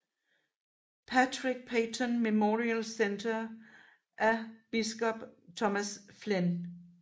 Patrick Peyton Memorial Centre af biskop Thomas Flynn